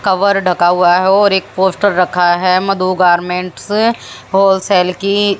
cover ढका हुआ है और एक पोस्टर रखा है मधु गारमेंट्स होलसेल की--